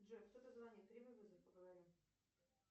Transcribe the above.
джой кто то звонит прими вызов поговорим